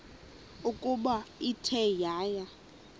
ukuba ithe yaya